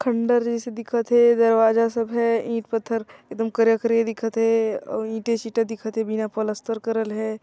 खंडर जाईसे से दिखत हे दरवाजा सब है ईट पत्थर एकदम करिया-करिया दिखत हे अओ ईटें- शीटा दिखत हेबिना प्लास्टर करल हे